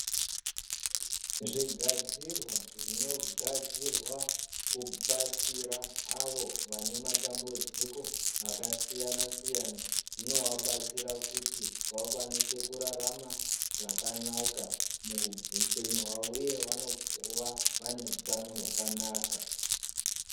Zvigadzirwa zvinogadzirwa kubatsira avo vane matambudziko akasiyana-siyana zvinovabatsira kuti vakwanise kurarama zvakanaka muupenyu hwavo uye vanova vaneutano hwakanaka.